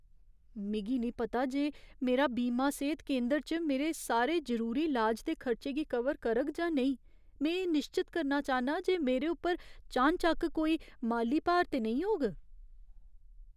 मिगी निं पता जे मेरा बीमा सेह्त केंदर च मेरे सारे जरूरी लाज दे खर्चे गी कवर करग जां नेईं। में एह् निश्चत करना चाह्न्नां जे मेरे उप्पर चानचक्क कोई माली भार ते नेईं होग।